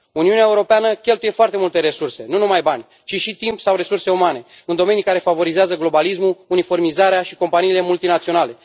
Uniunea Europeană cheltuie foarte multe resurse nu numai bani ci și timp sau resurse umane în domenii care favorizează globalismul, uniformizarea și companiile multinaționale.